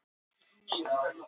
Bæjarlind